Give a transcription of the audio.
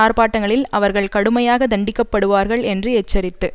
ஆர்பாட்டங்களில் அவர்கள் கடுமையாக தண்டிக்கப்படுவார்கள் என்று எச்சரித்து